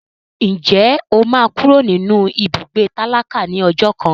Ǹjẹ́ o máa kúrò nínú ibùgbé tálákà ní ọjọ́ kan?